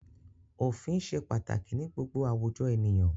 Òfin ṣe pàtàkì ní gbogbo àwùjọ ènìyàn.